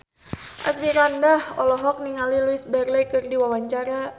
Asmirandah olohok ningali Louise Brealey keur diwawancara